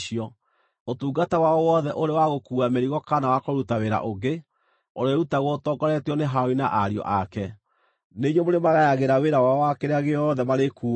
Ũtungata wao wothe, ũrĩ wa gũkuua mĩrigo kana wa kũruta wĩra ũngĩ, ũrĩĩrutagwo ũtongoretio nĩ Harũni na ariũ ake. Nĩ inyuĩ mũrĩmagayagĩra wĩra wao wa kĩrĩa gĩothe marĩkuuaga.